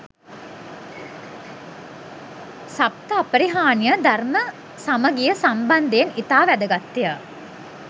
සප්ත අපරිහාණිය ධර්ම සමගිය සම්බන්ධයෙන් ඉතා වැදගත්ය.